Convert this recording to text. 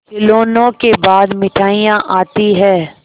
खिलौनों के बाद मिठाइयाँ आती हैं